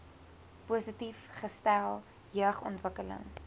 positief gestel jeugontwikkeling